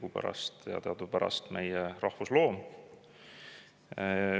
Hunt on ju teadupärast meie rahvusloom.